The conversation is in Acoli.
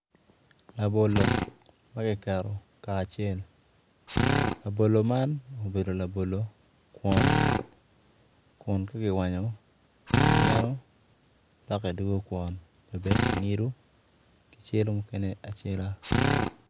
Labolo ma kiketo kacel labolo man obedo labolo kwon kun ka kiwanyo kimyeno loke doko kwon dok kingido kicelo mukene acela.